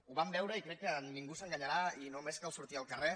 ho vam veure i crec que ningú s’enganyarà i només cal sortir al carrer